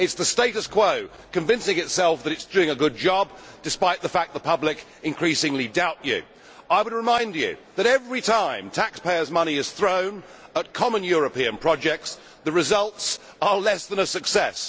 It is the status quo convincing itself that it you are doing a good job despite the fact that the public increasingly doubt you. I would remind you that every time taxpayers' money is thrown at common European projects the results are less than a success.